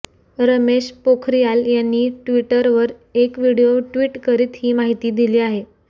रमेश पोखरियाल यांनी ट्विटवर एक व्हिडीओ ट्विट करत ही माहिती दिली आहे